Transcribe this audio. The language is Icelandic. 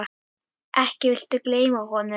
Ekki viltu gleyma honum?